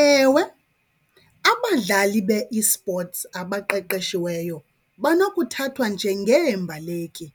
Ewe, abadlali be-esports abaqeqeshiweyo banokuthathwa njengeembaleki